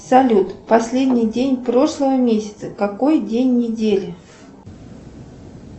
салют последний день прошлого месяца какой день недели